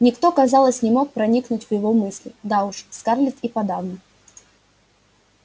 никто казалось не мог проникнуть в его мысли да уж скарлетт и подавно